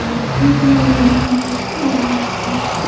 Unga muammoni hal qilishga va’da berishgan.